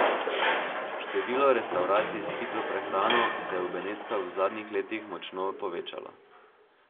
Število restavracij s hitro prehrano se je v Benetkah v zadnjih letih močno povečalo.